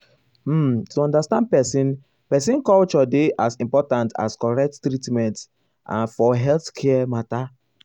um to understand person person culture dey as important as correct treatment ah for healthcare matter.